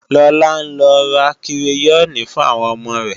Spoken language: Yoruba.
Lọlá ń lọ ra kireyọ́ọ̀nì fún àwọn ọmọ rẹ